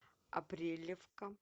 апрелевка